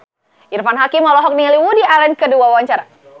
Irfan Hakim olohok ningali Woody Allen keur diwawancara